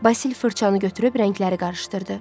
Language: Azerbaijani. Basil fırçanı götürüb rəngləri qarışdırdı.